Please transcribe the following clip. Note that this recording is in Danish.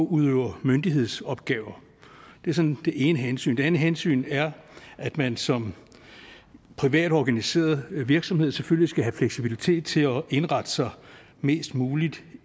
udøver myndighedsopgaver det er sådan det ene hensyn det andet hensyn er at man som privatorganiseret virksomhed selvfølgelig skal have fleksibilitet til at indrette sig mest muligt